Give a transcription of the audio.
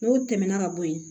N'o tɛmɛna ka bo yen